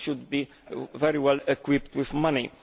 it should be very well equipped with money.